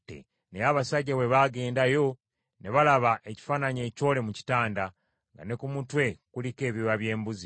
Naye abasajja bwe bagenda yo, ne balaba ekifaananyi ekyole mu kitanda, nga ne ku mutwe kuliko ebyoya by’embuzi.